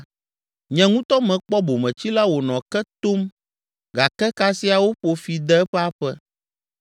Nye ŋutɔ mekpɔ bometsila wònɔ ke tom gake kasia woƒo fi de eƒe aƒe.